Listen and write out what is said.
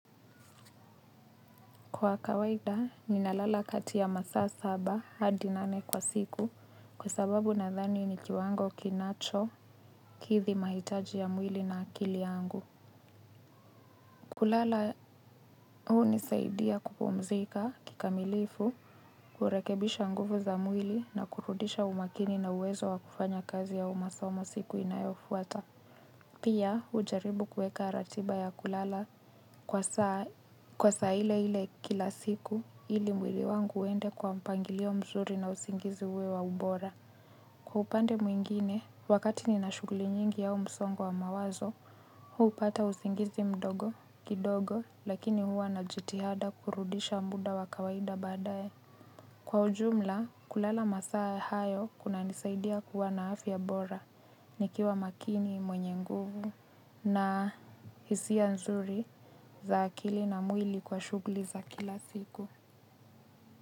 Kwa kawaida, ninalala kati ya masaa saba hadi nane kwa siku, kwa sababu nadhani ni kiwango kinachokithi mahitaji ya mwili na akili yangu. Kulala hunisaidia kupumzika kikamilifu, kurekebisha nguvu za mwili na kurudisha umakini na uwezo wa kufanya kazi au masomo siku inayofuata. Hiyo mzuri na usingizi uwe wa ubora. Kwa upande mwingine, wakati nina shughuli nyingi yao msongo wa mawazo, hupata usingizi mdogo, kidogo, lakini huwa na jitihada kurudisha muda wa kawaida baadaye. Kwa ujumla, kulala masaa hayo kunanisaidia kuwa na afya bora, nikiwa makini mwenye nguvu. Na hisia nzuri za akili na mwili kwa shughuli za kila siku.